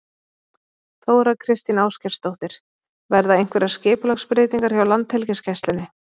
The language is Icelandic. Þóra Kristín Ásgeirsdóttir: Verða einhverjar skipulagsbreytingar hjá Landhelgisgæslunni?